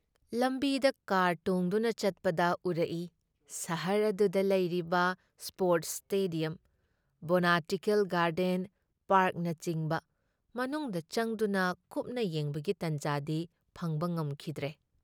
ꯂꯥꯝꯕꯤꯗ car ꯇꯣꯡꯗꯨꯅ ꯆꯠꯄꯗ ꯎꯔꯛꯏ ꯁꯍꯔ ꯑꯗꯨꯗ ꯂꯩꯔꯤꯕ ꯁ꯭ꯄꯣꯔꯠꯁ ꯁ꯭ꯇꯦꯗꯤꯌꯝ, ꯕꯣꯇꯥꯅꯤꯀꯦꯜ ꯒꯥꯔꯗꯦꯟ, ꯄꯥꯔꯛꯅꯆꯤꯡꯕ ꯃꯅꯨꯡꯗ ꯆꯪꯗꯨꯅ ꯀꯨꯞꯅ ꯌꯦꯡꯕꯒꯤ ꯇꯥꯟꯖꯥꯗꯤ ꯐꯪꯕ ꯉꯝꯈꯤꯗ꯭ꯔꯦ ꯫